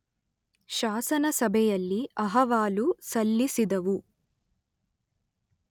ಶಾಸನಸಭೆಯಲ್ಲಿ ಅಹವಾಲು ಸಲ್ಲಿಸಿದವು.